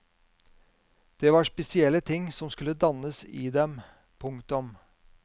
Det var spesielle ting som skulle dannes i dem. punktum